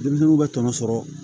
Denmisɛnninw bɛ tɔnɔ sɔrɔ